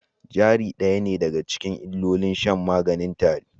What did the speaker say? Jari ɗaya ne daga cikin illolin shan maganin tare